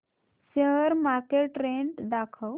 share market trend दाखव